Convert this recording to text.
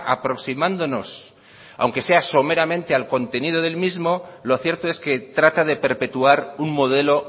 aproximándonos aunque sea someramente al contenido del mismo lo cierto es que trata de perpetuar un modelo